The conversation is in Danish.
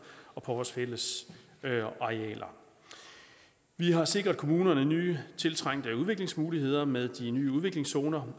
og på vores fælles arealer vi har sikret kommunerne nye tiltrængte udviklingsmuligheder med de nye udviklingszoner